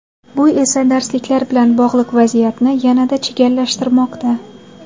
Bu esa darsliklar bilan bog‘liq vaziyatni yanada chigallashtirmoqda.